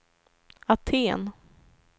Aten